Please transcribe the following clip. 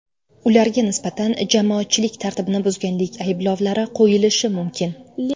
Ularga nisbatan jamoatchilik tartibini buzganlik ayblovlari qo‘yilishi mumkin.